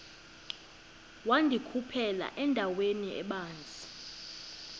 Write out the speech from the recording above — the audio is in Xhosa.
wandikhuphela endaweni ebanzi